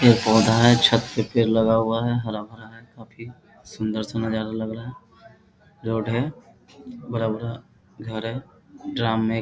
पेड़ -पौधा है छत पे पेड़ लगा हुआ हरा भरा हुआ है काफी सुंदर सा नजारा लग रहा है रोड है बड़ा-बड़ा घर है ड्रम --